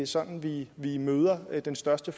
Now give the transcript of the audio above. sådan vi vi møder den største